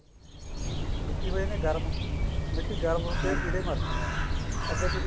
ਮਿੱਟੀ ਹੋ ਜਾਂਦੀ ਹੈ ਗਰਮ ਮਿੱਟੀ ਗਰਮ ਹੋਕ ਕੀੜੇ ਮਰ ਜਾਂਦੇ ਹਨ ਅੱਗੇ ਤੁਸੀਂ